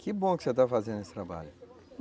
Que bom que você está fazendo esse trabalho.